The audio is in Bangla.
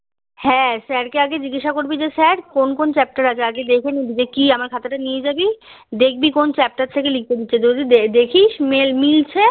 হ্যাঁ স্যার কে আগে জিজ্ঞাসা করবি যে স্যার কোন কোন চ্যাপ্টার আগে দেখে নিবি যে কি আমার খাতাটা নিয়ে জাবি দেখবি কবি চ্যাপ্টার থেকে লিখতে দিচ্ছে জিডি দেখিস যে মিলছে